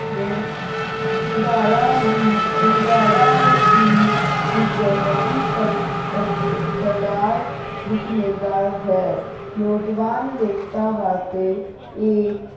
ਨੂੰ ਹੁੰਗਾਰਾ ਵੀ ਹੁੰਗਾਰਾ ਹੀ ਇਕ ਵੱਡੀ ਤਾਦਤਾਦਤਾਦਾਦ ਵਿੱਚ ਮਿਲਦਾ ਹੈ ਨੌਜਵਾਨ ਲੇਖਕਾਂ ਵਾਸਤੇ ਇਹ